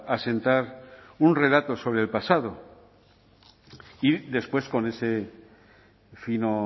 asentar un relato sobre el pasado y después con ese fino